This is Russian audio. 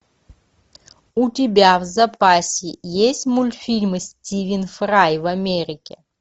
у тебя в запасе есть мультфильмы стивен фрай в америке